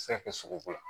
A bɛ se ka kɛ sogoko ye